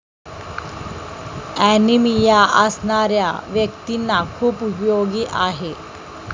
Anaemia असणाऱ्या व्यक्तींना खूप उपयोगी आहे.